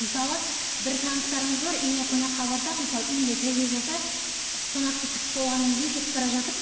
мысалы бір таныстарымыз бар үйіне қонаққа барсақ мысалы үйінде сәби болса қонақты күтіп болғаннан кейін кетіп бара жатып